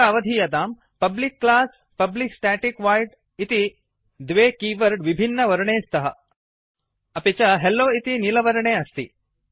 अत्र अवधीयताम् public class public static void इति द्वे कीवर्ड् विभिन्न वर्णे स्तः अपि च हेल्लो इति नीलवर्णे अस्ति